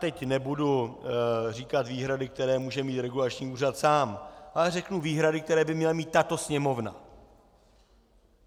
Teď nebudu říkat výhrady, které může mít regulační úřad sám, ale řeknu výhrady, které by měla mít tato Sněmovna.